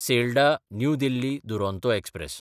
Sealdah New Delhi Duronto express